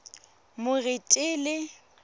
moretele